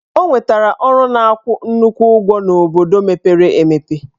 Ọ nwetara ọrụ na-akwụ nnukwu ụgwọ n'obodo mepere emepe.